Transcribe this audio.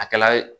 A kɛla